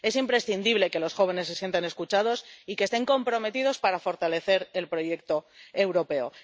Es imprescindible que los jóvenes se sientan escuchados y que estén comprometidos para fortalecer el proyecto europeo.